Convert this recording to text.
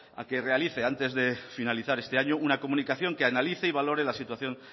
a que realice antes de finalizar este año una comunicación que analice y valore la situación